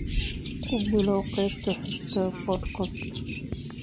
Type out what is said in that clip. ku bilow qaybta xigta podcast